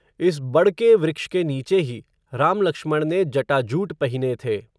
इस बड़ के वृक्ष के नीचे ही, राम लक्ष्मण ने, जटाजूट पहिने थे